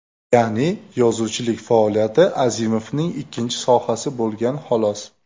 Ya’ni yozuvchilik faoliyati Azimovning ikkinchi sohasi bo‘lgan xolos.